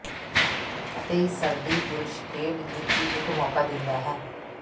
ਅਤੇ ਸਰਦੀ ਪੁਰਸ਼ ਖੇਡ ਜੁੱਤੀ ਇੱਕ ਮੌਕਾ ਦਿੰਦਾ ਹੈ